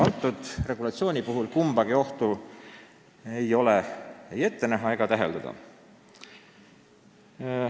Kõnealuse regulatsiooni puhul ei ole täheldatud ega ette näha kumbagi ohtu.